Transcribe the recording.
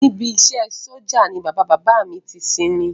Níbi iṣẹ́ ẹ sójà ni bàbá bàbá à mi ti sinmi